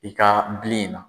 I ka bilen in na.